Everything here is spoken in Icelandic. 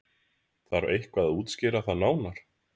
Þarf eitthvað að útskýra það nánar?